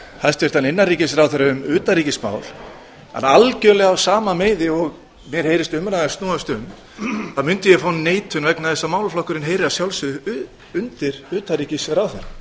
hæstvirtan innanríkisráðherra um utanríkismál en algjörlega á sama meiði og mér heyrist umræðan snúast um þá mundi ég fá neitun vegna þess að málaflokkurinn heyrir að sjálfsögðu undir utanríkisráðherra